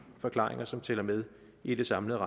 forklaringer som tæller med i det samlede